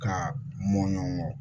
Ka mɔɔ